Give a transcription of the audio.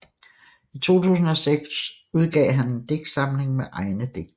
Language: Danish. I 2006 udgav han en digtsamling med egne digte